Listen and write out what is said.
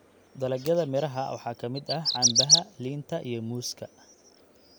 Dalagyada miraha waxaa ka mid ah canbaha, liinta, iyo muuska.